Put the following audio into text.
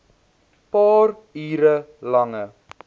paar uur lange